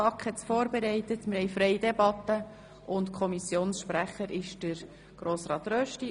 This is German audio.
Ich gebe das Wort dem Kommissionssprecher Grossrat Rösti.